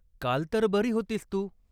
काल तर बरी होतीस तू?